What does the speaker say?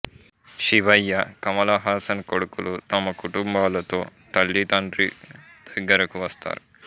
శివయ్య కమలహాసన్ కొడుకులు తమ కుటుంబాలతో తల్లి తండ్రి దగ్గరకు వస్తారు